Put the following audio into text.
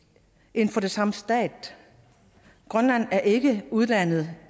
inden for den samme stat grønland er ikke udlandet